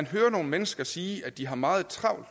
hører nogle mennesker sige at de har meget travlt